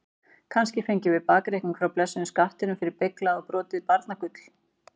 Kannski fengjum við bakreikning frá blessuðum skattinum fyrir beyglað og brotið barnagull?